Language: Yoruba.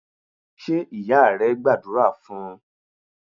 Ṣé ìyá rẹ gbàdúrà fún un?